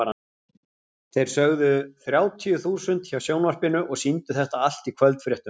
Þeir sögðu þrjátíu þúsund hjá sjónvarpinu og sýndu þetta allt í kvöldfréttunum.